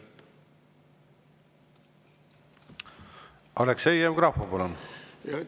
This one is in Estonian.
Aleksei Jevgrafov, palun!